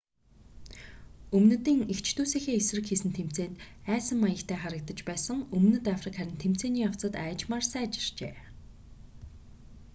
өмнөдийн эгч дүүсийнхээ эсрэг хийсэн тэмцээнд айсан маягтай харагдаж байсан өмнөд африк харин тэмцээний явцад аажмаар сайжирчээ